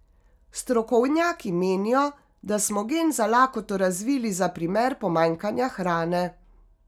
Strokovnjaki menijo, da smo gen za lakoto razvili za primer pomanjkanja hrane.